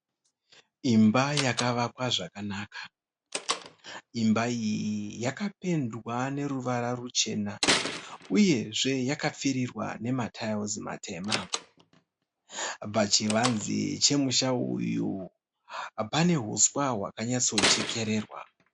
Imba yakavakwa zvakanaka. Imba iyi yakapendwa neruvara ruchena uyezve yakapfirirwa nemaratayiwusi matema. Pachivanze chemusha uyu pane huswa hwakanyatsochekererwa.